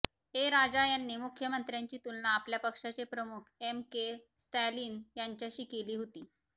ए राजा यांनी मुख्यमंत्र्यांची तुलना आपल्या पक्षाचे प्रमुख एम के स्टॅलिन यांच्याशी केली केली होती